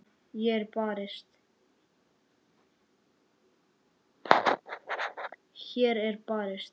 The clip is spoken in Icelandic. Hér er barist.